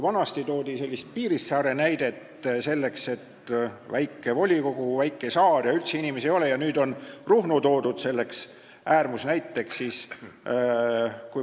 Vanasti toodi Piirissaare näidet, et väike volikogu, väike saar ja üldse inimesi ei ole, nüüd on Ruhnu selleks äärmusnäiteks.